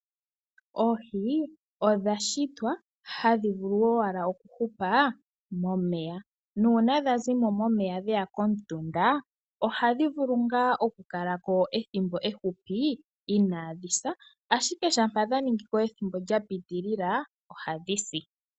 Oohi odha shitwa hadhi vulu owala okuhupa momeya nuuna dha zi mo dhe ya komutunda ohadhi vulu ngaa okukala ko ethimbo efupi inaadhi sa, ashike shampa dha ningi ko ethimbo lya piitilila, ohadhi si.